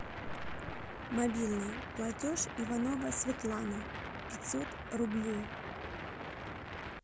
мобильный платеж иванова светлана пятьсот рублей